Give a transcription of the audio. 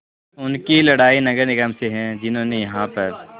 उनकी लड़ाई नगर निगम से है जिन्होंने यहाँ पर